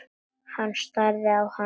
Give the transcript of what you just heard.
Hann starði á hana.